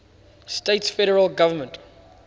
states federal government